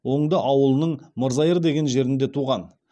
оңды ауылының мырзайыр деген жерінде туған